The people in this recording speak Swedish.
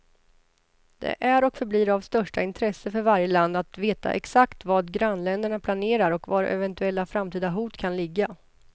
Det är och förblir av största intresse för varje land att veta exakt vad grannländerna planerer och var eventuella framtida hot kan ligga.